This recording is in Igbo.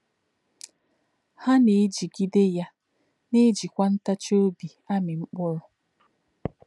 Há̄ “nā̄-èjìgìdè̄ yá̄, nā̄-èjì̄kwā ntàchì̄ ọ̀bí̄ àmì̄ mkpụ̀rụ́.”